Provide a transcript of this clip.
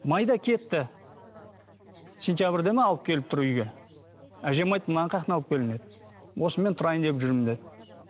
майда кетті сентябрьде ме алып келіп тұр үйге әжем айтты мынаны қаяқтан алып келдің деді осымен тұрайын деп жүрмін деді